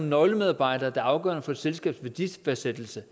nøglemedarbejdere der er afgørende for selskabets værdifastsættelse